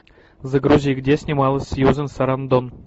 загрузи где снималась сьюзан сарандон